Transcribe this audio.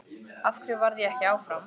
Af hverju varð ég ekki áfram?